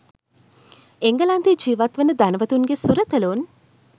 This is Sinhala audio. එංගලන්තයේ ජීවත් වන ධනවතුන්ගේ සුරතලූන්